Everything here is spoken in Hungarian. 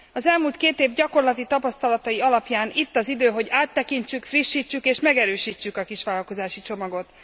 Az elmúlt két év gyakorlati tapasztalatai alapján itt az idő, hogy áttekintsük, frissítsük és megerősítsük a kisvállalkozási csomagot.